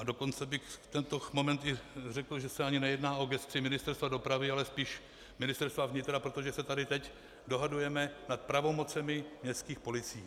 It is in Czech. A dokonce bych v tento moment i řekl, že se ani nejedná o gesci Ministerstva dopravy, ale spíš Ministerstva vnitra, protože se tady teď dohadujeme nad pravomocemi městských policií.